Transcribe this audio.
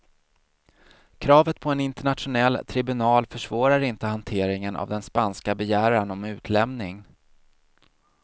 Kravet på en internationell tribunal försvårar inte hanteringen av den spanska begäran om utlämning.